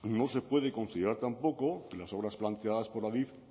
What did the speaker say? no se puede considerar tampoco que las obras planteadas por adif